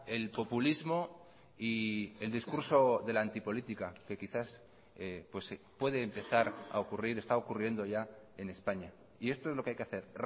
el populismo y el discurso de la antipolítica que quizás puede empezar a ocurrir está ocurriendo ya en españa y esto es lo que hay que hacer